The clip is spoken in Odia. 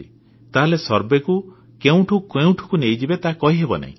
ତାହେଲେ ସର୍ଭେକୁ କେଉଁଠୁ କେଉଁଠିକୁ ନେଇଯିବେ ତାହା କହିହେବ ନାହିଁ